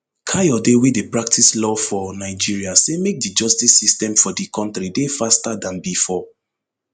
kayode wey dey practice law for nigeria say make di justice system for di kontri dey faster dan bifor